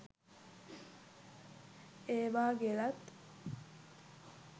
ඒවා ගෙලත්